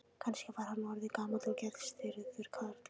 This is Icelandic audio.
Kannski var hann orðinn gamall og geðstirður karl.